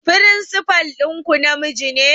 Firinsifal ɗinku namiji ne?